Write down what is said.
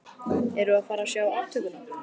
Erum við að fara að sjá aftökuna?